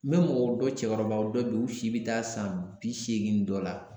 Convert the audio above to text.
N bɛ mɔgɔ dɔ cɛkɔrɔbaw dɔn bi u si bɛ taa san bi seegin ni dɔ la